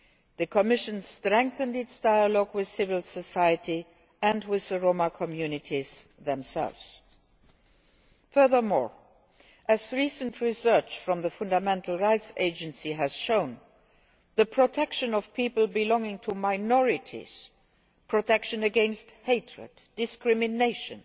The Commission strengthened its dialogue with civil society and with the Roma communities themselves. Furthermore, as recent research from the Fundamental Rights Agency has shown, the protection of people belonging to minorities, protection against hatred and discrimination,